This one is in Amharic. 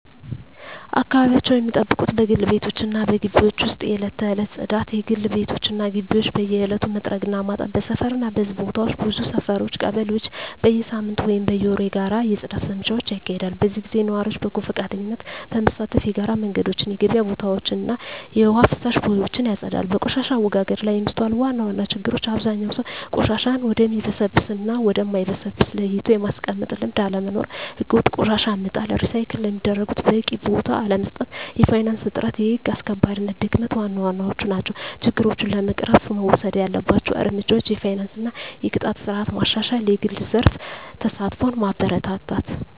አካባቢያቸውን ሚጠብቁት በግል ቤቶች እና በግቢዎች ውስጥ የዕለት ተዕለት ጽዳት: የግል ቤቶች እና ግቢዎች በየዕለቱ መጥረግ እና ማጠብ። በሰፈር እና በሕዝብ ቦታዎች ብዙ ሰፈሮች (ቀበሌዎች) በየሳምንቱ ወይም በየወሩ የጋራ የጽዳት ዘመቻዎች ያካሂዳሉ። በዚህ ጊዜ ነዋሪዎች በጎ ፈቃደኝነት በመሳተፍ የጋራ መንገዶችን፣ የገበያ ቦታዎችን እና የውሃ ፍሳሽ ቦዮችን ያጸዳሉ። በቆሻሻ አወጋገድ ላይ የሚስተዋሉ ዋና ዋና ችግሮች አብዛኛው ሰው ቆሻሻን ወደሚበሰብስ እና ወደ ማይበሰብስ ለይቶ የማስቀመጥ ልምድ አለመኖር። ሕገወጥ ቆሻሻ መጣል፣ ሪሳይክል ለሚደረጉት በቂ ቦታ አለመስጠት፣ የፋይናንስ እጥረት፣ የህግ አስከባሪነት ድክመት ዋና ዋናዎቹ ናቸው። ችግሮችን ለመቅረፍ መወሰድ ያለባቸው እርምጃዎች የፋይናንስ እና የቅጣት ስርዓት ማሻሻል፣ የግል ዘርፍ ተሳትፎን ማበረታታት፣ …